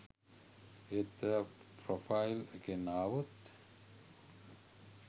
ඒත් ඔයා ප්‍රොෆයිල් එකෙන් ආවොත්